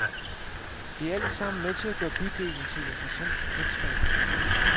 Det er alt sammen med til at gøre bydelen til et interessant bekendtskab.